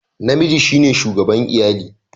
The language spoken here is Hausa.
Namiji shine shugaban iyali